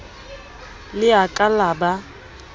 le a ka la ba